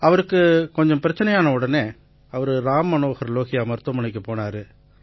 அவருக்கு கொஞ்சம் பிரச்சனையான உடனே அவரு ராம் மனோஹர் லோஹியா மருத்துவமனைக்குப் போனாரு